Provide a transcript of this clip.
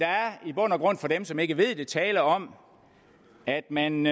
for dem som ikke ved det er tale om at man